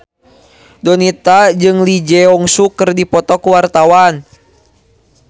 Donita jeung Lee Jeong Suk keur dipoto ku wartawan